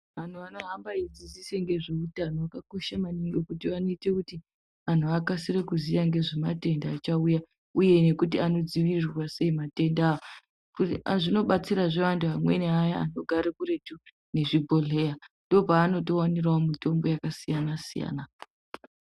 Anhu anohambe eidzidzisa ngezveutano akakosha maningi ngekuti vanoite kuti anhu akasire kuziya ngezvematenda achauya uye kuti anodzivirirwa sei matenda, zvinobatsirazve antu aya anogare kure nezvibhohleya ndopavanotowanirawo mitombo yakasiyana-siyana.